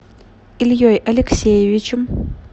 ильей алексеевичем